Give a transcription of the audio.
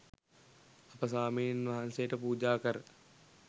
අප ස්වාමීන් වහන්සේට පූජා කර